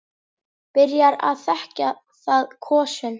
Byrjar að þekja það kossum.